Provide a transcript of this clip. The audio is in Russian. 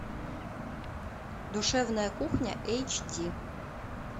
душевная кухня эйч ди